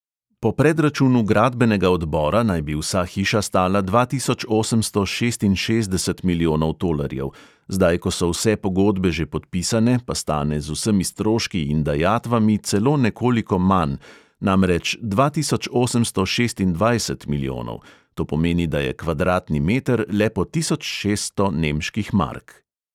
Po predračunu gradbenega odbora naj bi vsa hiša stala dva tisoč osemsto šestinšestdeset milijonov tolarjev, zdaj, ko so vse pogodbe že podpisane, pa stane z vsemi stroški in dajatvami celo nekoliko manj, namreč dva tisoč osemsto šestindvajset milijonov; to pomeni, da je kvadratni meter le po tisoč šeststo nemških mark.